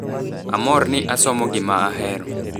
"Amor ni asomo gima ahero.